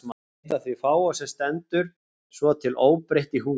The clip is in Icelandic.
Eitt af því fáa sem stendur svo til óbreytt í húsi